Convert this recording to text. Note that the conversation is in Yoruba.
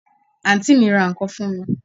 Àǹtí mi ra ǹkan fún mi